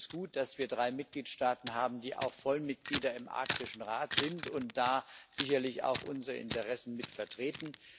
Es ist gut, dass wir drei Mitgliedstaaten haben, die auch Vollmitglieder im Arktischen Rat sind und da sicherlich auch unsere Interessen mitvertreten.